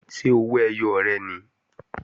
Ṣé owó ẹyọ rẹ̀ nìí?